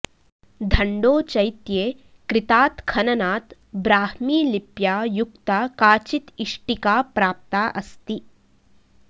धण्डोचैत्ये कृतात् खननात् ब्राह्मीलिप्या युक्ता काचित् इष्टिका प्राप्ता अस्ति